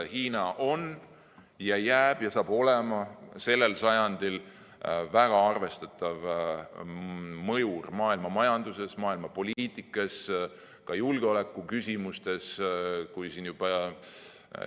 Hiina on sellel sajandil väga arvestatav mõjur maailma majanduses, maailma poliitikas, ka julgeolekuküsimustes ning ta ka jääb selleks.